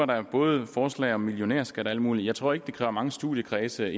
der både forslag om millionærskat og alt muligt jeg tror ikke det kræver mange studiekredse